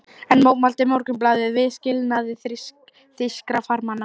Enn mótmælti Morgunblaðið viðskilnaði þýskra farmanna.